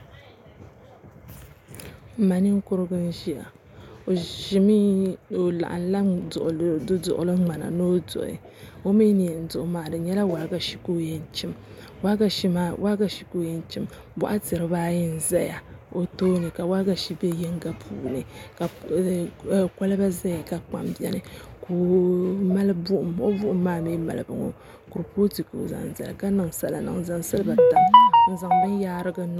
N ma ninkurigu n ʒiya o laɣamla du duɣugu ŋmana ni o duɣi o mii ni yɛn diɣi maa di nyɛla waagashe ka o yɛn chim boɣati dibaayi n ʒɛya o tooni ka waagashe bɛ yinga puuni ka kolba ʒɛya ka kpam biɛni ka o mali buɣum o buɣum maa mii malibu ŋo kurifooti ka o zaŋ zali n zaŋ silba tam n zaŋ bin yaarigu niŋ